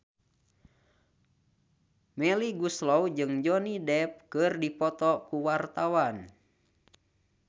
Melly Goeslaw jeung Johnny Depp keur dipoto ku wartawan